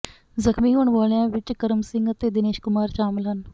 ਜ਼ਖਮੀ ਹੋਣ ਵਾਲਿਆਂ ਵਿਚ ਕਰਮ ਸਿੰਘ ਅਤੇ ਦਿਨੇਸ਼ ਕੁਮਾਰ ਸ਼ਾਮਲ ਹਨ